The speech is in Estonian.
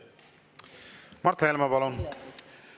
Mart Helme, palun!